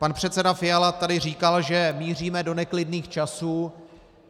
Pan předseda Fiala tady říkal, že míříme do neklidných časů.